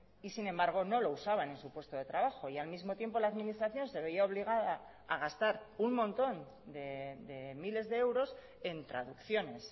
y sin embargo no lo usaban en su puesto de trabajo y al mismo tiempo la administración se veía obligada a gastar un montón de miles de euros en traducciones